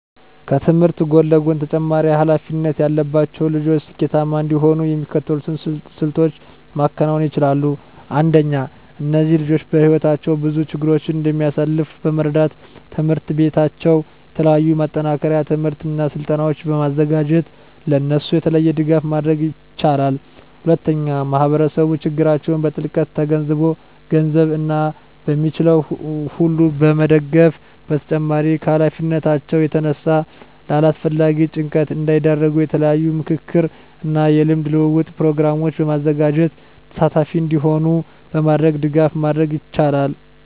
ከትምህርት ጎን ለጎን ተጨማሪ ሀላፊነት ያለባቸው ልጆች ስኬታማ እንዲሆኑ የሚከተሉትን ስልቶች ማከናወን ይቻላል። አንደኛ እነዚህ ልጆች በህይወታቸው ብዙ ችግሮችን እንደሚያሳልፍ በመረዳት ትምሕርት ቤታቸው የተለያዩ የማጠናከሪያ ትምህርቶችን እና ስልጠናዎችን በማዘጋጀት ለእነሱ የተለየ ድጋፍ ማድረግ ይችላል። ሁለተኛ ማህበረሰቡ ችግራቸውን በጥልቀት ተገንዝቦ በገንዘብ እና በሚችለው ሁሉ መደገፍ በተጨማሪም ከሀላፊነታቸው የተነሳ ለአላስፈላጊ ጭንቀት እንዳይዳረጉ የተለያዩ የምክክር እና የልምድ ልውውጥ ፕሮግራሞችን በማዘጋጀት ተሳታፊ እንዲሆኑ በማድረግ ድጋፍ ማድረግ ይቻላል።